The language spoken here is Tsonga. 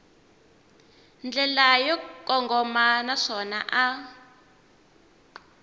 ndlela yo kongoma naswona a